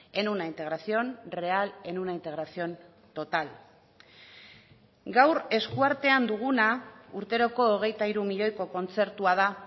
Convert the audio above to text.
en una integración real en una integración total gaur eskuartean duguna urteroko hogeita hiru milioiko kontzertua da